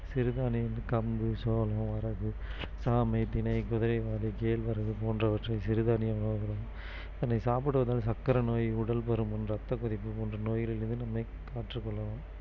சிறுதானியங்கள் கம்பு சோளம் வரகு சாமை திணை குதிரைவாலி கேழ்வரகு போன்றவற்றை சிறுதானியமாக அதனை சாப்பிடுவதால் சக்கரைநோய் உடல்பருமன் ரத்தக் குறிப்பு போன்ற நோய்களிலிருந்து நம்மை காற்றுக் கொள்ளலாம்